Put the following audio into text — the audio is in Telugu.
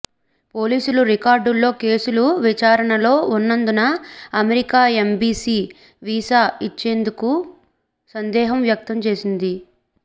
పోలీసుల రికార్డుల్లో కేసులు విచారణలో ఉన్నందున అమెరికా ఎంబీసీ వీసా ఇచ్చేందుకు సందేహం వ్యక్తం చేసింది